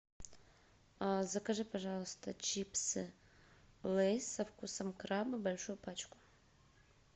закажи пожалуйста чипсы лейс со вкусом краба большую пачку